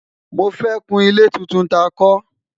mọ fẹ kún ilé títún tá kò